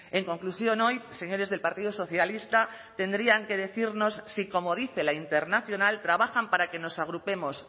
en conclusión hoy señores del partido socialista tendrían que decirnos si como dice la internacional trabajan para que nos agrupemos